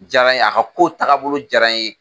Jaara n ye a ka kow tagabolo jaara n ye.